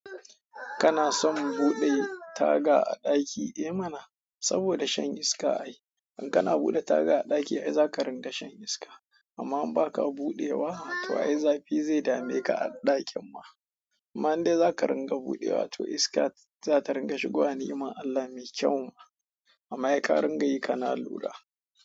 Kana son buɗe taga a ɗaki? Eh mana, saboda shan iska ai. In kana buɗe taga a ɗaki ai zakaringa shan iska. Amma in baka buɗewa, to ai zafi zai dameka a ɗakin ma. Amma in dai zaka ringa buɗewa to iska za ta ringa shigowa ni'iman Allah me kyau ma. Amma sai ka ringa yi kana lura.